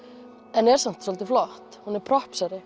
en er samt svolítið flott hún er